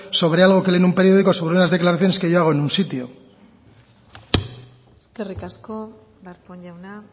sobre algo que lee en un periódico sobre unas declaraciones que yo hago en un sitio eskerrik asko darpón jauna